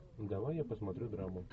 давай я посмотрю драму